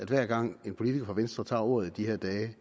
hver gang en politiker fra venstre tager ordet i de her dage